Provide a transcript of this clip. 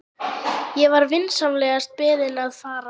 Ég var vinsamlegast beðinn að fara.